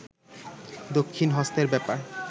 দক্ষিন হস্তের ব্যপার